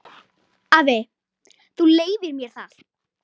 Afi, þú leyfir mér það.